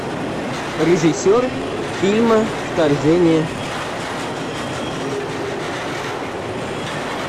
режиссер фильма вторжение